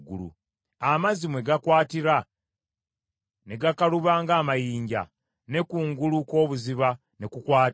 amazzi mwe gakwatira ne gakaluba ng’amayinja, ne kungulu kw’obuziba ne kukwata?